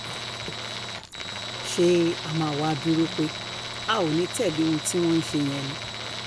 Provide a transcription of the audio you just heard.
ṣé a máa wáá dúró pé a ò ní í tẹ̀lé ohun tí wọ́n ń ṣe yẹn ni